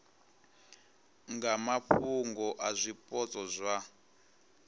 nga mafhungo a zwipotso zwa